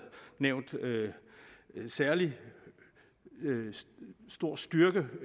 nævnt særlig stor styrke